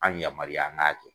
An yamaruya an k'a kɛ.